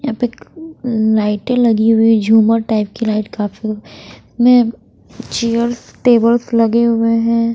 यहाँ पे एक लाईटे लगी हुई झूमर टाइप की लाइट काफी में चेयर्स टेबल्स लगे हुए हैं।